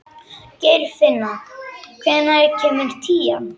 Geirfinna, hvenær kemur tían?